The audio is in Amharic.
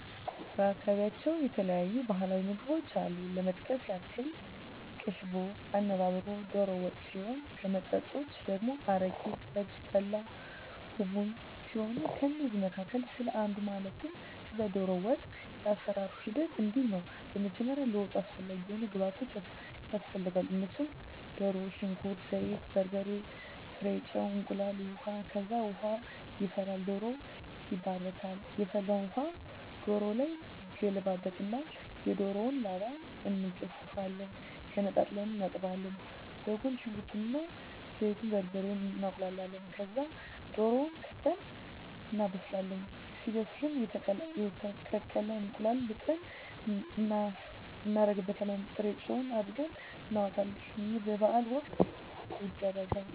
በአካባቢያቸው የተለያዩ ባህላዊ ምግቦች አሉ ለመጥቀስ ያክል ቅቦሽ፣ አነባበሮ፣ ዶሮ ወጥ ሲሆን ከመጠጦች ደግሞ አረቂ፣ ጠጅ፣ ጠላ፣ ቡቡኝ ሲሆኑ ከእነዚህ መካከል ስለ አንዱ ማለትም ስለ ዶሮ ወጥ የአሰራሩ ሂደት እንዲህ ነው በመጀመሪያ ለወጡ አስፈላጊ የሆኑ ግብዓቶች ያስፈልጋሉ እነሱም ድሮ፣ ሽንኩርት፣ ዘይት፣ በርበሬ፣ ጥሬ ጨው፣ እንቁላል፣ ውሀ፣ ከዛ ውሃ ይፈላል ዶሮው ይባረካል የፈላውን ውሀ ዶሮው ላይ ይገለበጣል እና የዶሮውን ላባ እንጋፍፋለን ገነጣጥለን እናጥባለን በጎን ሽንኩርት እና ዘይቱን፣ በርበሬውን እናቁላላለን ከዛ ድሮውን ከተን እናበስላለን ሲበስልልን የተቀቀለ እንቁላል ልጠን እናረግበታለን ጥሬጨው አርገን እናወጣለን ይህ በበዓል ወቅት ይደረጋል።